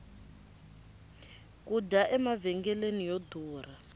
ku dya emavhengeleni yo durha